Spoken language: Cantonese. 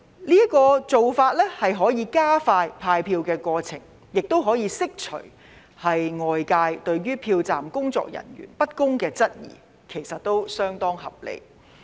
這個做法可以加快派票過程，亦可以釋除外界對票站工作人員不公的質疑，其實是相當合理的。